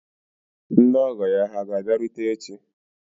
Ndị ọgọ ya hà ga-abịarute echi?